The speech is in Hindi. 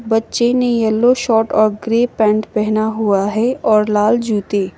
बच्चे ने येलो शर्ट और ग्रे पैंट पहना हुआ है और लाल जूते।